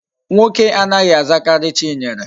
Nwoke anaghi azakari Chinyere